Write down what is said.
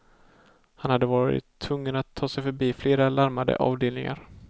Han hade varit tvungen att ta sig förbi flera larmade avdelningar.